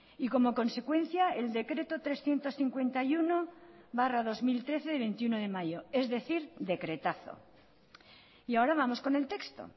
y como consecuencia el decreto trescientos cincuenta y uno barra dos mil trece de veintiuno de mayo es decir decretazo y ahora vamos con el texto